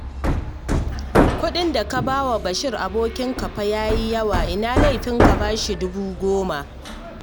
Kuɗin da ka ba wa Bashir abokinka fa ya yi yawa, ina laifin ka ba shi dubu goma?